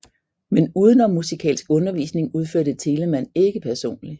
Men udenommusikalsk undervisning udførte Telemann ikke personlig